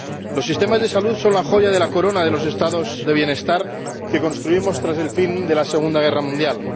Los sistemas de salud son la joya de la corona de los Estados del bienestar que construimos tras el fin de la Segunda Guerra Mundial.